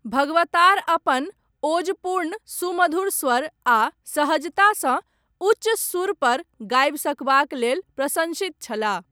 भगवतार, अपन ओजपूर्ण सुमधुर स्वर, आ सहजतासँ, उच्च सुरपर गाबि सकबाक लेल, प्रशन्सित छलाह।